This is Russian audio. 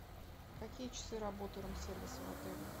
какие часы работы рум сервиса в отеле